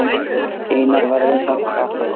Einar verður samt alltaf til.